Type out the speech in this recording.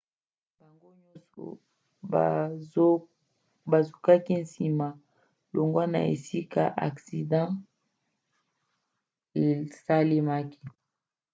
bango nyonso bazokaki nsima longwa na esika aksida esalemaki